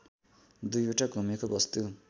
दुईवटा घुमेको वस्तु